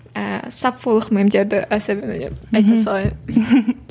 ііі саффолық мемдерді әсер айта салайын